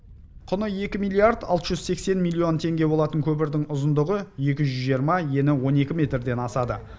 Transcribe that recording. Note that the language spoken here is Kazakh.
құны екі миллиард алты жүз сексен миллион теңге болатын көпірдің ұзындығы екі жүз жиырма ені он екі метрден асады